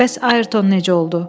Bəs Ayrton necə oldu?